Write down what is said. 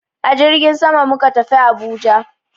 A jirgin sama muka tafi Abuja.